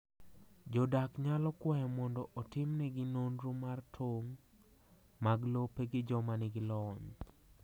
Jodak nyalo kwayo mondo otimnegi nonro mar tong’ mag lope gi joma nigi lony.